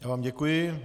Já vám děkuji.